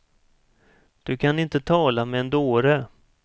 Du kan inte tala med en dåre.